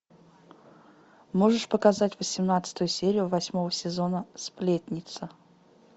можешь показать восемнадцатую серию восьмого сезона сплетница